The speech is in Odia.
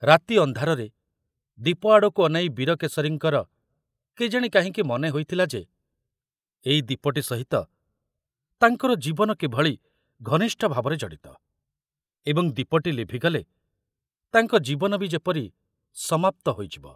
ରାତି ଅନ୍ଧାରରେ ଦୀପ ଆଡ଼କୁ ଅନାଇ ବୀରକେଶରୀଙ୍କର କେଜାଣି କାହିଁକି ମନେ ହୋଇଥିଲା ଯେ ଏଇ ଦୀପଟି ସହିତ ତାଙ୍କର ଜୀବନ କିଭଳି ଘନିଷ୍ଠ ଭାବରେ ଜଡ଼ିତ ଏବଂ ଦୀପଟି ଲିଭିଗଲେ ତାଙ୍କ ଜୀବନ ବି ଯେପରି ସମାପ୍ତ ହୋଇଯିବ।